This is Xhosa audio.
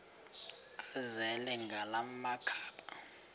azele ngala makhaba